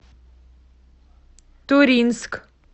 туринск